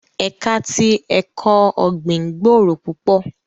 Ẹka ti ẹkọ ọgbin gbooro pupọ